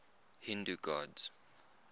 hindu gods